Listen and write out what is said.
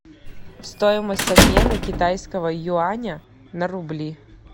стоимость обмена китайского юаня на рубли